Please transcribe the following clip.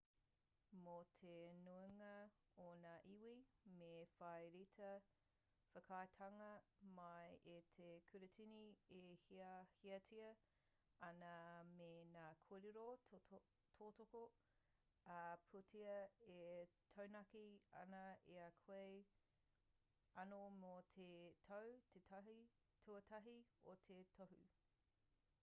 mō te nuinga o ngā iwi me whai reta whakaaetanga mai i te kuratini e hiahiatia ana me ngā kōrero tautoko ā-pūtea e taunaki ana i a koe anō mō te tau tuatahi o tō tohu